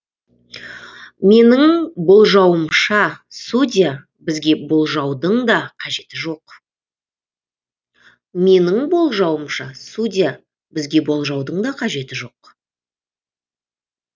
менің болжауымша судья бізге болжаудың да қажеті жоқ